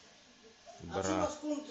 бра